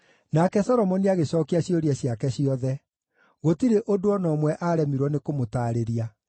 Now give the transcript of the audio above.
Nake Solomoni agĩcookia ciũria ciake ciothe; gũtirĩ ũndũ o na ũmwe aaremirwo nĩkũmũtaarĩria.